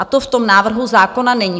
A to v tom návrhu zákona není.